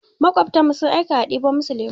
Maƙwabtanmu sun aika a ɗebo musu lemu.